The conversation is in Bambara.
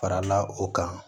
Farala o kan